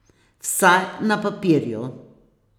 Vsaj na papirju.